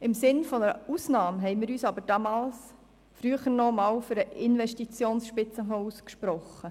Im Sinne einer Ausnahme hatten wir uns aber früher für den Investitionsspitzenfonds ausgesprochen.